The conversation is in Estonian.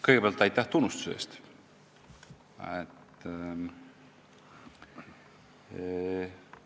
Kõigepealt aitäh tunnustuse eest!